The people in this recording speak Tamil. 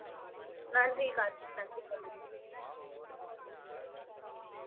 நன்றி கார்த்திக் நன்றி கோமதி